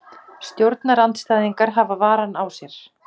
Stjórnarandstæðingar hafa varann á sér